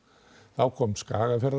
þá kom